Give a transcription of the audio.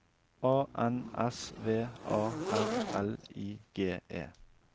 A N S V A R L I G E